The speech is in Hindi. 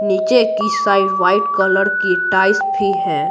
नीचे की साइड वाइट कलर की टाइस भी है।